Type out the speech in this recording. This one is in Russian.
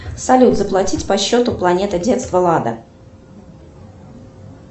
салют заплатить по счету планета детства лада